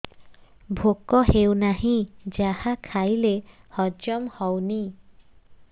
ଭୋକ ହେଉନାହିଁ ଯାହା ଖାଇଲେ ହଜମ ହଉନି